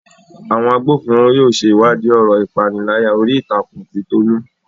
Àwọn agbófinró yóò ṣe ìwádìí ọ̀rọ̀ ìpániláyà orí ìtàkùn ti Tolu